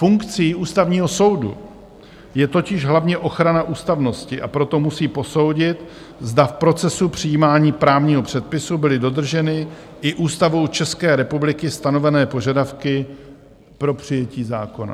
Funkcí Ústavního soudu je totiž hlavně ochrana ústavnosti, a proto musí posoudit, zda v procesu přijímání právního předpisu byly dodrženy i Ústavou České republiky stanovené požadavky pro přijetí zákona.